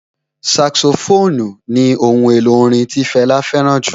Saxophone ni ohun èlò orin tí Fẹlá fẹ́ràn jù